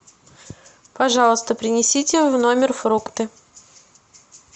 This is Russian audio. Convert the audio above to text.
пожалуйста принесите в номер фрукты